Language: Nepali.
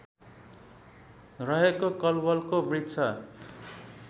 रहेको कलवलको वृक्ष